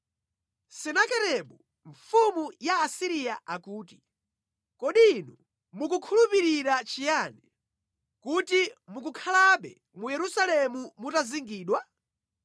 “Senakeribu mfumu ya ku Asiriya akuti: Kodi inu mukukhulupirira chiyani, kuti mukukhalabe mu Yerusalemu mutazingidwa?